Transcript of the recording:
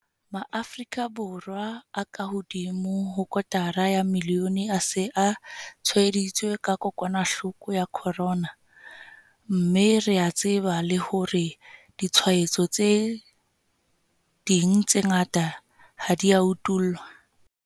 Maafrika Borwa a kahodimo ho kotara ya milione a se a tshwaeditswe ke kokwanahloko ya corona, mme re a tseba le hore ditshwaetso tse ding tse ngata ha di a utollwa.